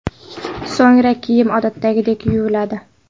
So‘ngra kiyim odatdagidek yuviladi.